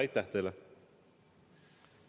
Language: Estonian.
Aitäh teile!